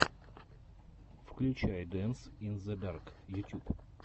включай дэнс ин зе дарк ютюб